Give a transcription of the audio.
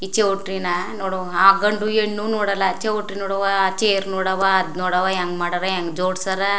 ಈ ಚೌಟ್ರಿನಾ ನೋಡು ಆ ಗಂಡು ಹೆಣ್ಣು ನೋಡಲ್ಲಾ ಆ ಚೌಟ್ರಿ ನೋಡ್ ಅವ್ವ ಚೇರ್ ನೋಡ್ ಅವ್ವ ಅದ್ನ್ ನೋಡ್ ಅವ್ವ ಹೆಂಗ್ ಮಾಡರ್ ಹೆಂಗ್ ಜೋಡ್ಸರ್.